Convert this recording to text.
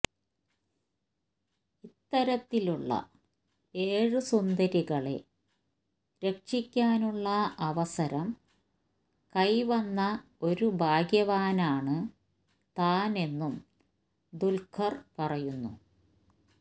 ഇത്തരത്തിലുള്ള ഏഴു സുന്ദരികളെ രക്ഷിക്കാനുള്ള അവസരം കൈവന്ന ഒരു ഭാഗ്യവാനാണ് താന് എന്നും ദുല്ഖര് പറയുന്നു